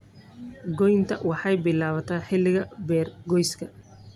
Goynta waxay bilaabataa xilliga beergooyska.